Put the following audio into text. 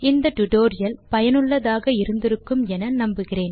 இந்த டியூட்டோரியல் லை ரசித்து இருப்பீர்கள் பயனுள்ளதாக இருக்கும் என நம்புகிறோம்